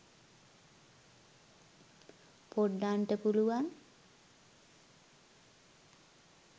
poddanta puluwan